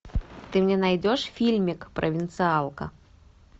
ты мне найдешь фильмик провинциалка